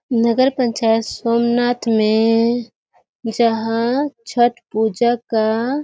नगर पंचायत सोमनाथ में जहाँ छठ पूजा का --